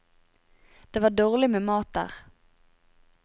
Det var dårlig med mat der.